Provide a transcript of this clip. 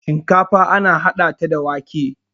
shinkafa ana hada ta da wake